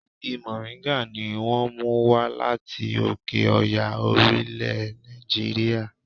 Igi mòríńgà ni wón mú wá láti òkè Ọya orílẹ̀ Nàìjíríà.